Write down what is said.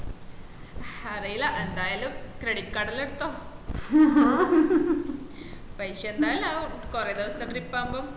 ഹറീല എന്തായാലും credit card എല്ലം എടുത്തോ പൈസ എന്താലും ആവും കൊറേ ദെവസം trip അമ്പൊ